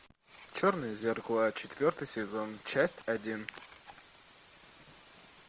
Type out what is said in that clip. черное зеркало четвертый сезон часть один